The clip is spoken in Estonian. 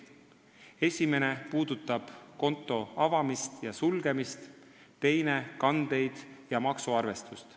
Esimene puudutab konto avamist ja sulgemist, teine kandeid ja maksuarvestust.